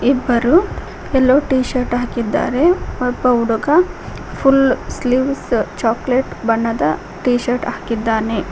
ಇಬ್ಬರು yellow T-shirt ಹಾಕಿದ್ದಾರೆ ಇನ್ನೊಬ್ಬ ಹುಡುಗ ಫುಲ್ ಸ್ಲೀವ್ ಚಾಕ್ಲೆಟ್ ಬಣ್ಣದ ಟಿಶರ್ಟ್ ಹಾಕಿದ್ದಾನೆ.